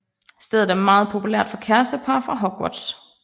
Stedet er meget populært for kærestepar fra Hogwarts